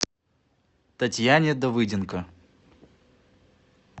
татьяне давыденко